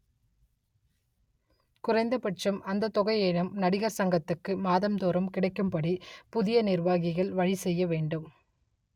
குறைந்தபட்சம் அந்த தொகையேனும் நடிகர் சங்கத்துக்கு மாதம்தோறும் கிடைக்கும்படி புதிய நிர்வாகிகள் வழி செய்ய வேண்டும்